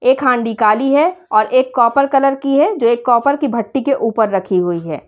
एक हांडी काली है और एक कॉपर कलर की है जो एक कॉपर की भट्टी के ऊपर रखी हुई है।